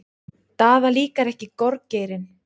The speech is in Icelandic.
Daða líkar ekki gorgeirinn.